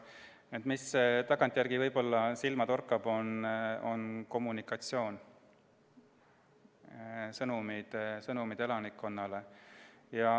See, mis tagantjärele võib-olla silma torkab, on kommunikatsioon, elanikkonnale antud sõnumid.